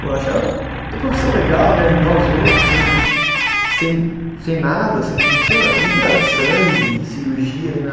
Pô, eu achava profissão legal, né, ajudar os outros sem sem, sem nada assim, não tinha, eu não via sangue, cirurgia, nem nada.